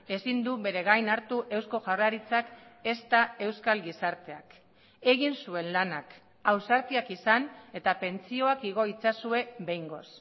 ezin du bere gain hartu eusko jaurlaritzak ezta euskal gizarteak egin zuen lanak ausartiak izan eta pentsioak igo itzazue behingoz